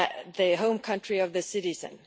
the home country of the citizen.